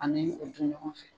Ani o dun ɲɔgɔn fɛ.